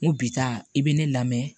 N ko bi ta i be ne lamɛn